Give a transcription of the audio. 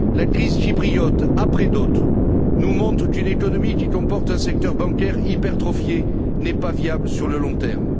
La crise chypriote, après d'autres, nous montre qu'une économie qui comporte un secteur bancaire hypertrophié n'est pas viable sur le long terme.